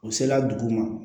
U sela dugu ma